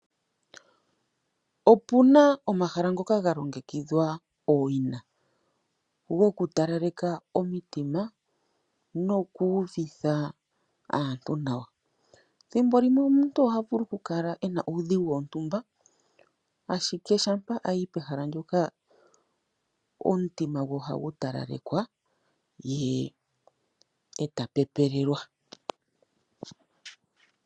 Opuna omahala ngoka ga longekidhwa owina goku talaleka omitima noku uvitha aantu nawa. Ethimbolimwe omuntu ohavulu oku kala ena uudhigu wontumba ashike shampa ayi pehala ndoka omutima gwe ohagu talalekwa ye eta pepelelwa.